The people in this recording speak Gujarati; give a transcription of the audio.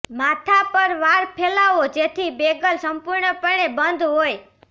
માથા પર વાળ ફેલાવો જેથી બેગલ સંપૂર્ણપણે બંધ હોય